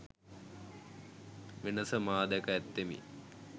වෙනස මා දැක ඇත්තෙමි